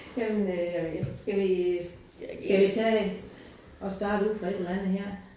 Jamen øh jamen skal vi skal vi tage at starte ud fra et eller andet her